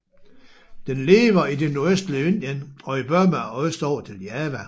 Den lever i det nordøstlige Indien og i Burma og østover til Java